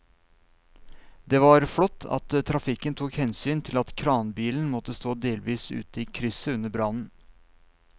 Det var flott at trafikken tok hensyn til at kranbilen måtte stå delvis ute i krysset under brannen.